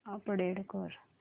update कर